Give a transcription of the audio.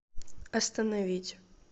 остановить